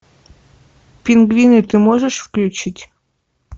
пингвины ты можешь включить